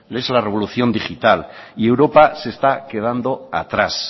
que es la revolución digital y europa se está quedando atrás